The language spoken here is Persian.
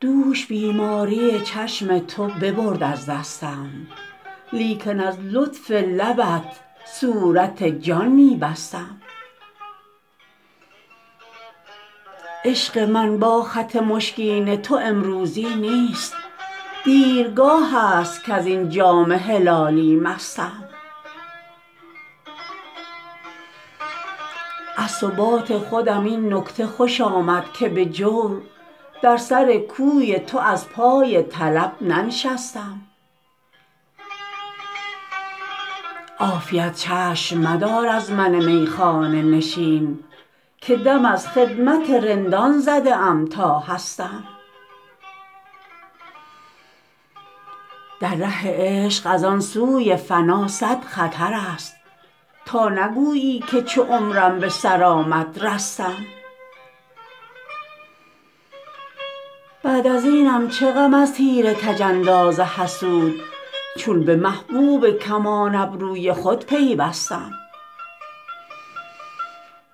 دوش بیماری چشم تو ببرد از دستم لیکن از لطف لبت صورت جان می بستم عشق من با خط مشکین تو امروزی نیست دیرگاه است کز این جام هلالی مستم از ثبات خودم این نکته خوش آمد که به جور در سر کوی تو از پای طلب ننشستم عافیت چشم مدار از من میخانه نشین که دم از خدمت رندان زده ام تا هستم در ره عشق از آن سوی فنا صد خطر است تا نگویی که چو عمرم به سر آمد رستم بعد از اینم چه غم از تیر کج انداز حسود چون به محبوب کمان ابروی خود پیوستم